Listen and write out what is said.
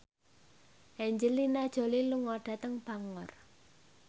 Angelina Jolie lunga dhateng Bangor